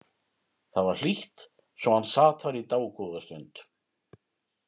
Það var hlýtt svo hann sat þar í dágóða stund.